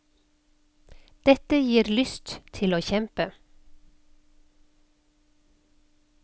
Dette gir lyst til å kjempe.